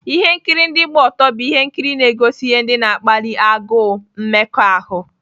Ihe nkiri ndị gba ọtọ bụ ihe nkiri na-egosi ihe ndị na-akpali agụụ mmekọahụ.